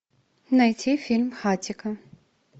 найти фильм хатико